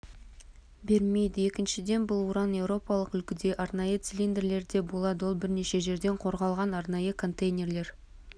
бермейді екіншіден бұл уран еуропалық үлгідегі арнайы цилиндрлерде болады ол бірнеше жерден қорғалған арнайы контейнерлер